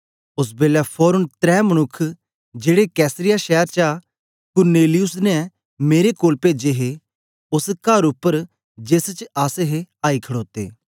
ओस बेलै फोरन त्रै मनुक्ख जेड़े कैसरिया शैर चा कुरनेलियुस ने मेरे कोल पेजे हे ओस कर उपर जेस च अस हे आई खड़ोते